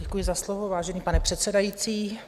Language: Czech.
Děkuji za slovo, vážený pane předsedající.